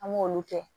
An m'olu kɛ